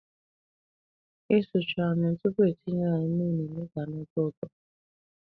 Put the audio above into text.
Isichu anụ tupu etinye ya mmiri na-eme ka ọ tọọ ụtọ.